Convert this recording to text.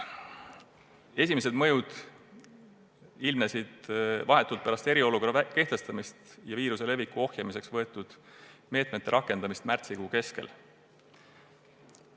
Esimesed mõjud ilmnesid vahetult pärast eriolukorra kehtestamist ja viiruse leviku ohjamiseks võetud meetmete rakendamist märtsikuu keskel.